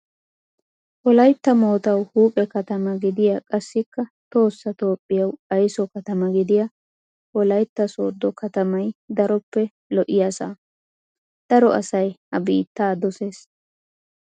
Wolayitta moottaawu huuphphe katamaa gidiyaa qassikka tohossa toophphiyawu ayiso katama gidiyaa wolayitta sooddo katamay daroppe lo'iyaasa. daro asayi ha biitta doses.